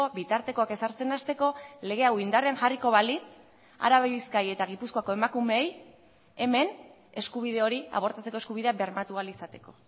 bitartekoak ezartzen hasteko lege hau indarrean jarriko balitz araba bizkaia eta gipuzkoako emakumeei hemen eskubide hori abortatzeko eskubidea bermatu ahal izateko